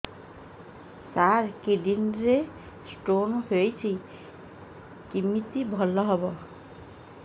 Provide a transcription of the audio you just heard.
ସାର kidney ରେ stone ହେଇଛି କମିତି ଭଲ ହେବ